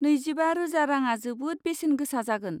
नैजिबा रोजा राङा जोबोद बेसेन गोसा जागोन।